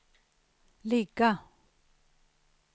ligga